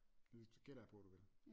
Gætter jeg på du vil